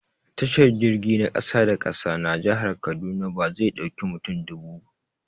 Tashar jirgi na ƙasa-da-ƙasa na jihar kaduna bazai dauƙi mutum dubu